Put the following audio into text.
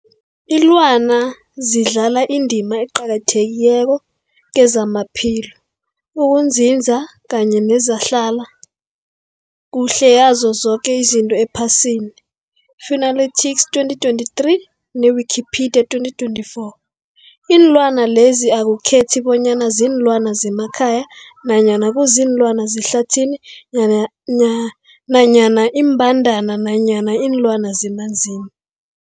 Ilwana zidlala indima eqakathekileko kezamaphilo, ukunzinza kanye nezehlala kuhle yazo zoke izinto ephasini, Fuanalytics 2023, ne-Wikipedia 2024. Iinlwana lezi akukhethi bonyana ziinlwana zemakhaya nanyana kuziinlwana zehlathini nanya na nanyana iimbandana nanyana iinlwana zemanzini.